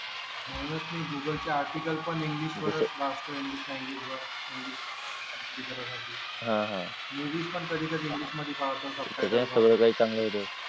म्हणूनच मी google articles पण इंग्लिश मध्ये वाचतो इंग्लिश चांगली करा साठी मूवीज पण कधीकधी इंग्लिश ध्ये पाहतो